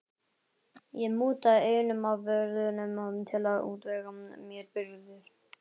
Ég mútaði einum af vörðunum til að útvega mér birgðir.